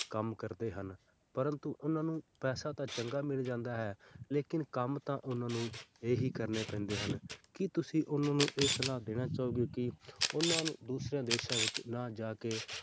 ਕੰਮ ਕਰਦੇ ਹਨ ਪਰੰਤੂ ਉਹਨਾਂ ਨੂੰ ਪੈਸਾ ਤਾਂ ਚੰਗਾ ਮਿਲ ਜਾਂਦਾ ਹੈ ਲੇਕਿੰਨ ਕੰਮ ਤਾਂ ਉਹਨਾਂ ਨੂੰ ਇਹੀ ਕਰਨੇ ਪੈਂਦੇ ਹਨ ਕੀ ਤੁਸੀਂ ਉਹਨਾਂ ਨੂੰ ਇਹ ਸਲਾਹ ਦੇਣਾ ਚਾਹੋਗੇ ਕਿ ਉਹਨਾਂ ਨੂੰ ਦੂਸਰਿਆਂ ਦੇਸਾਂ ਵਿੱਚ ਨਾ ਜਾ ਕੇ,